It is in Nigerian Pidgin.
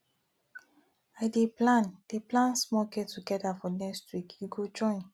i dey plan dey plan small gettogether for next week you go join